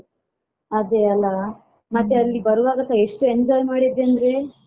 ಅದೇ ಅಲಾ ಮತ್ತೆ ಅಲ್ಲಿ ಬರುವಾಗಸ ಎಷ್ಟು enjoy ಮಾಡಿದ್ವಿ ಅಂದ್ರೆ.